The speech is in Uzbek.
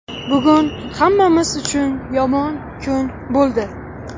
Bugun hammamiz uchun yomon kun bo‘ldi.